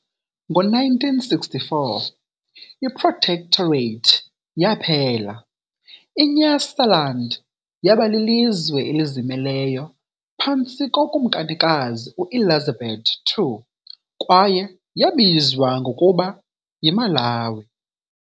Ngo-1964, i-protectorate yaphela- iNyasaland yaba lilizwe elizimeleyo phantsi koKumkanikazi u-Elizabeth II, kwaye yabizwa ngokuba "yiMalawi" .